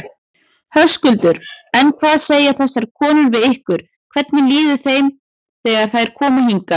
Höskuldur: En hvað segja þessar konur við ykkur, hvernig líður þeim þegar þær koma hingað?